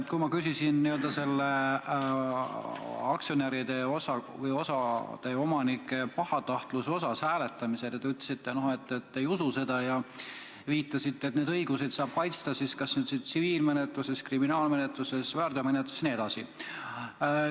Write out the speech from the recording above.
Kui ma küsisin aktsionäride või osa omanike pahatahtlikkuse kohta hääletamisel, siis te ütlesite, et te ei usu seda, ja viitasite, et oma õigusi saab kaitsta kas tsiviilmenetluses, kriminaalmenetluses või väärteomenetluses.